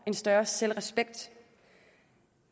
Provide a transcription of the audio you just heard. en større selvrespekt